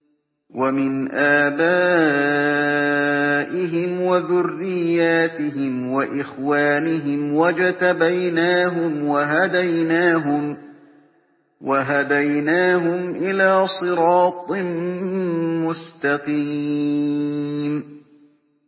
وَمِنْ آبَائِهِمْ وَذُرِّيَّاتِهِمْ وَإِخْوَانِهِمْ ۖ وَاجْتَبَيْنَاهُمْ وَهَدَيْنَاهُمْ إِلَىٰ صِرَاطٍ مُّسْتَقِيمٍ